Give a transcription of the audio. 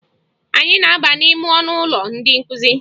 Anyị na-aba n'ime ọnụụlọ ndị nkụzi